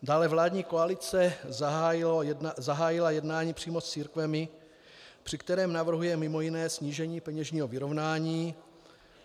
Dále vládní koalice zahájila jednání přímo s církvemi, při kterém navrhuje mimo jiné snížení peněžního vyrovnání.